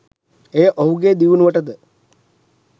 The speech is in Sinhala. එය ඔහුගේ දියුණුවටද